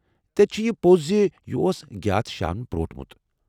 تیٚلہ چھ یہ پوٚز ز یہ اوس گِیاتھ شاہن پرٛوٹمٗت؟